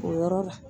O yɔrɔ la